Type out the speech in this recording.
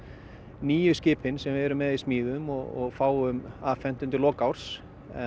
nýju skipin sem við erum með í smíðum og fáum afhent undir lok árs